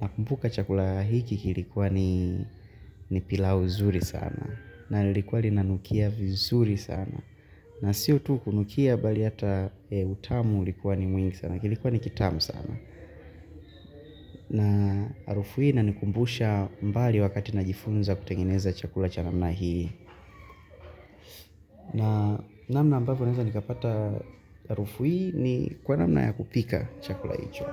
nakumbuka chakula hiki kilikuwa ni pilau zuri sana. Na likuwa linanukia vizuri sana. Na sio tu kunukia bali hata utamu ulikuwa ni mwingi sana. Kilikuwa ni kitamu sana. Na harufu hii inanikumbusha mbali wakati najifunza kutengeneza chakula cha namna hii. Na namna ambavyo neza nikapata harufu hii ni kwa namna ya kupika chakula hicho.